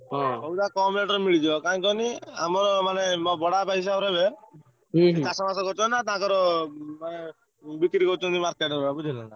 ସଉଦା କମ୍ rate ରେ ମିଳିଯିବ କାଇଁ କହନି ଆମର ମାନେ ମୋ ବଡ ବାପା ହିସାବ ହେବେ ସେ ଚାଷ ବାସ କରିଛନ୍ତି ନାଁ ତାଙ୍କର ମାନେ ବିକ୍ରି କରୁଛନ୍ତି market ରେ ବୁଝିପରିଲ ନାଁ।